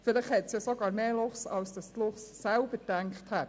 Vielleicht hat es sogar mehr Luchse, als die Luchse selbst gedacht haben.